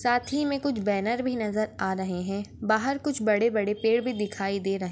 साथ ही मे कुछ बैनर भी नजर आ रहे है बाहर कुछ बड़े बड़े पेड़ भी दिखाई दे रहे है।